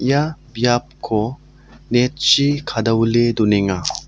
ia biapko net chi kadawile donenga.